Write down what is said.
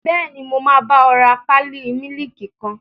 Bẹ́ẹ̀ni, mo máa bá ọ rà pálí mílìkì kan